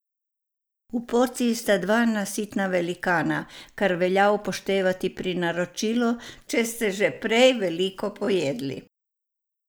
V porciji sta dva nasitna velikana, kar velja upoštevati pri naročilu, če ste že prej veliko pojedli.